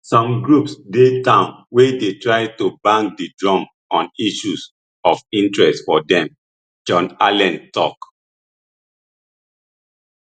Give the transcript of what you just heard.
some groups dey town wey dey try to bang di drum on issues of interest for dem john allen tok